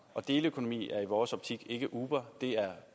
og deleøkonomi er i vores optik ikke uber uber er